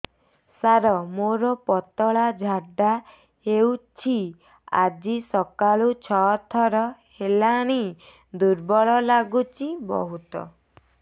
ସାର ମୋର ପତଳା ଝାଡା ହେଉଛି ଆଜି ସକାଳୁ ଛଅ ଥର ହେଲାଣି ଦୁର୍ବଳ ଲାଗୁଚି ବହୁତ